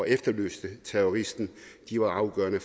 efterlyste terroristen var afgørende